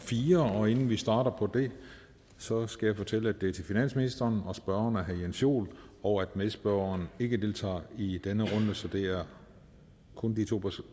fire og inden vi starter på det så skal jeg fortælle at det er til finansministeren og at spørgeren er herre jens joel og at medspørgeren ikke deltager i denne runde så det er kun de to